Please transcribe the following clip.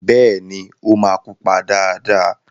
Bẹ́ẹ̀ni, ó máa pupa dáadáa.